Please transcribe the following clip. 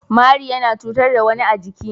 Mari yana cutar da wani a jiki.